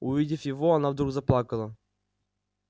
увидев его она вдруг заплакала